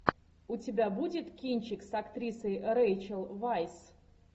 у тебя будет кинчик с актрисой рейчел вайс